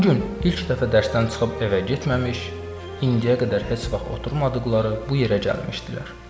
Bu gün ilk dəfə dərsdən çıxıb evə getməmiş, indiyə qədər heç vaxt oturmadıqları bu yerə gəlmişdilər.